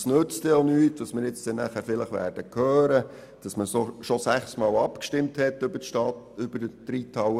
Es nützt auch nichts, wenn man vielleicht nachher hört, dass man bereits sechsmal über die Reithalle abgestimmt hat.